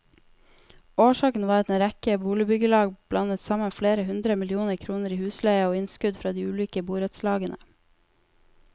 Årsaken var at en rekke boligbyggelag blandet sammen flere hundre millioner kroner i husleie og innskudd fra de ulike borettslagene.